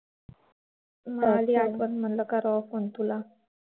आली आठवण म्हटलं करावा phone तुला